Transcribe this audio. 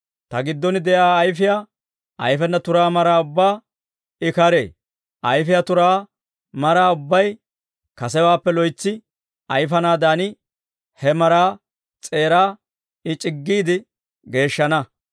Ta giddon de'iyaa ayfiyaa ayfena turaa maraa ubbaa I karee; ayfiyaa turaa maraa ubbay kasewaappe loytsi ayfanaadan, he maraa s'eeraa I c'iggiide geeshshana.